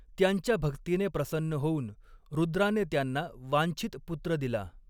त्यांच्या भक्तीने प्रसन्न होऊन रुद्राने त्यांना वांछित पुत्र दिला.